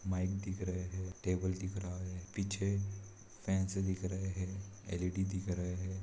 Mic दिख रहे हैं। टेबल दिख रहा है। पीछे फैन्स दिख रहे हैं। एल.ई.डी. दिख रहे हैं।